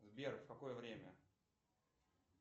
сбер в какое время